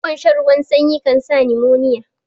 Yawan shan ruwan sanyi kansa nimoniya